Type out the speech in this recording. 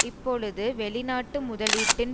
இப்பொழுது வெளிநாட்டு முதலீட்டின்